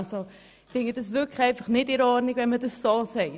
Ich finde es wirklich nicht in Ordnung, dies so zu sagen.